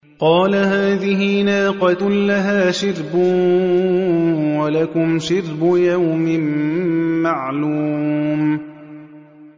قَالَ هَٰذِهِ نَاقَةٌ لَّهَا شِرْبٌ وَلَكُمْ شِرْبُ يَوْمٍ مَّعْلُومٍ